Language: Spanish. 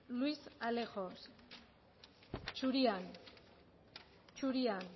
luis alejos zurian zurian